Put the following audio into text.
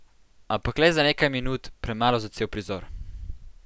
Ampak le za nekaj minut, premalo za cel prizor.